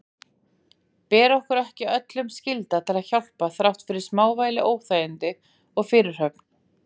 Ber okkur ekki öllum skylda til að hjálpa þrátt fyrir smávægileg óþægindi og fyrirhöfn?